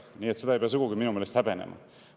Nii et seda ei pea minu meelest sugugi häbenema.